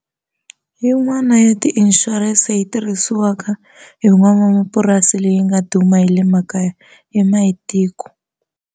Yin'wana ya ti-insurance yi tirhisiwaka hi nwanamapurasi leyi nga duma yi le makaya i Mayitiko.